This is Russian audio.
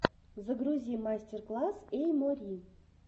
загрузи мастер класс эй мори